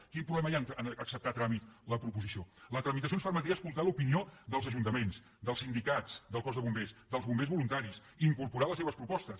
quin problema hi ha a acceptar a tràmit la proposició la tramitació ens permetria escoltar l’opinió dels ajuntaments dels sindicats del cos de bombers dels bombers voluntaris incorporar les seves propostes